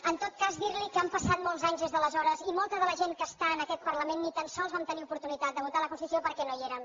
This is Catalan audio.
en tot cas dir li que han passat molts anys des de aleshores i molta de la gent que està en aquest parlament ni tan sols vam tenir oportunitat de votar la constitució perquè no hi érem